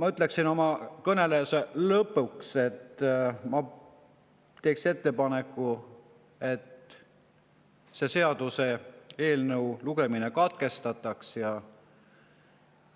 Ma ütleksin oma kõne lõpuks, et ma teen ettepaneku selle seaduseelnõu lugemine katkestada